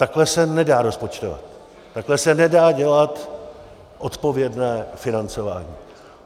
Takhle se nedá rozpočtovat, takhle se nedá dělat odpovědné financování.